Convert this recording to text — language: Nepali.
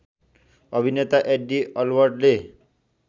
अभिनेता एड्डी अलबर्टले